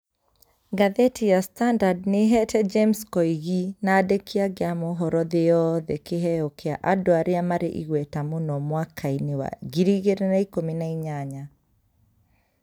Ngathĩti ya standard nĩ ĩheete James Koigi na andĩki angĩ a mohoro thĩ yothe kĩheo kĩa andũ arĩa marĩ igweta mũno mwaka-inĩ wa ngiri igĩrĩ na ikũmi na inyanya.